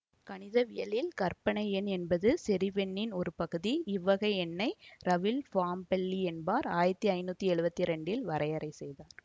கணிதவியலில் கற்பனை எண் என்பது செறிவெண்ணின் ஒரு பகுதி இவ்வகை எண்ணை ரஃவீல் பாம்பெல்லி என்பார் ஆயிரத்தி ஐநூற்றி எழுவத்தி இரண்டில் வரையறை செய்தார்